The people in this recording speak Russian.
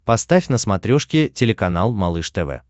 поставь на смотрешке телеканал малыш тв